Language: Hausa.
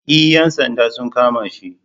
E ‘yan sanda sun kama shi.